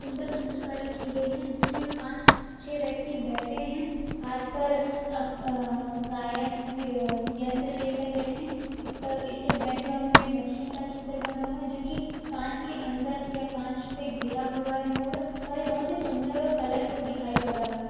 सुंदर चित्रकारी की गई है जिस में पांच से व्यक्ति बैठे है हाथ पर अम्म गायक यंत्र लेकर बैठे है इस पर इस के बैकग्राउंड पे मछली का चित्र बना हुआ है जोकि कांच के अंदर या कांच से घेरा हुआ है पूरा और ये बहुत ही सुंदर और कलरफुल दिखाई पड़ रहा है ।